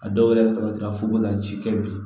A dɔw wɛrɛ sabatira fo ka ci kɛ bi